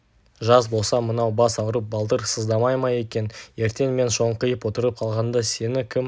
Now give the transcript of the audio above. жас болса мынау бас ауырып балтыр сыздамай ма екен ертең мен шоңқиып отырып қалғанда сені кім